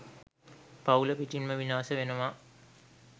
පවුල පිටින්ම විනාශ වෙනවා.